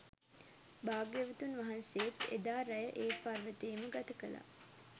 භාග්‍යවතුන් වහන්සේත් එදා රැය ඒ පර්වතයේම ගත කළා.